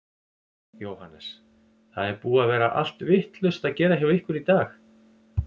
Jóhannes: Það er búið að vera allt vitlaust að gera hjá ykkur í dag?